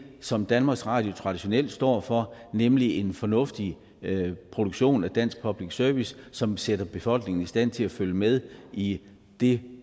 som danmarks radio traditionelt står for nemlig en fornuftig produktion af dansk public service som sætter befolkningen i stand til at følge med i det